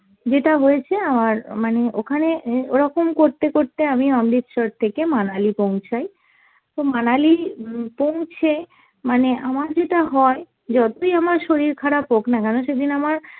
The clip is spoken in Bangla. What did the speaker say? যেটা হয়েছে আমার মানে ওখানে অ্যাঁ ওরকম করতে করতে আমি অমৃতসর থেকে মানালি পৌছাই, তো মানালি উম পৌঁছে মানে আমার যেটা হয় যতই আমার শরীর খারাপ হোক না কেন সেদিন আমার